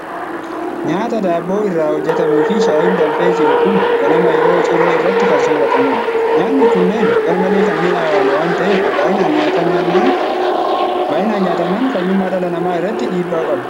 Nyaata daabboo irraa hojjetamuu fi shayiin danfee jiru kun ganama yeroo ciree irratti kan sooratamudha. Nyaanni kunneen garmalee kan mi'aawaan waan ta'eef, baay'inaan nyaatamnaan fayyummaa dhala namaa irratti dhiibbaa qabu.